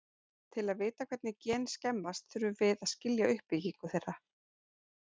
Til að vita hvernig gen skemmast þurfum að við að skilja uppbyggingu þeirra.